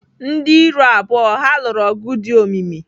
Ndị iro abụọ ha lụrụ ọgụ dị omimi.